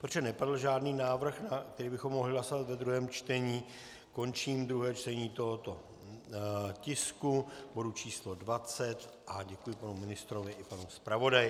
Protože nepadl žádný návrh, který bychom mohli hlasovat ve druhém čtení, končím druhé čtení tohoto tisku, bodu číslo 20, a děkuji panu ministrovi i panu zpravodaji.